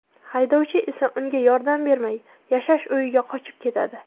Haydovchi esa unga yordam bermay, yashash uyiga qochib ketadi.